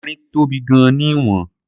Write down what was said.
Erin tóbi gan-an ní ìwọ̀n..